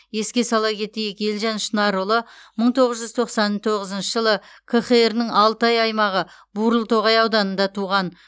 еске сала кетейік елжан шынарұлы мың тоғыз жүз тоқсан тоғызыншы жылы қхр ның алтай аймағы бурылтоғай ауданында туған